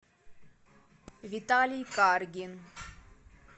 виталий каргин